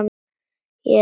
Ég er ekki dómbær.